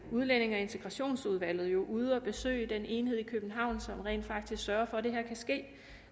udlændinge og integrationsudvalget var ude at besøge den enhed i københavn som rent faktisk sørger for at det kan ske